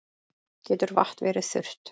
Getur vatn verið þurrt?